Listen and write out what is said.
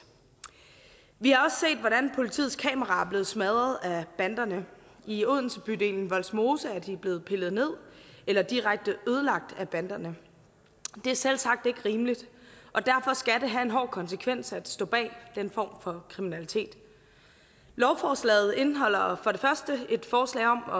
vi har også set hvordan politiets kameraer er blevet smadret af banderne i odensebydelen vollsmose er de blevet pillet ned eller direkte ødelagt af banderne det er selvsagt ikke rimeligt og derfor skal det have en hård konsekvens at stå bag den form for kriminalitet lovforslaget indeholder for det første et forslag om at